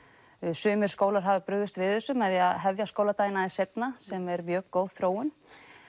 sumir skólar hafa brugðist við þessu með því að hefja skóladaginn aðeins seinna sem er mjög góð þróun